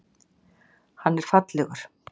Hann er fallegur.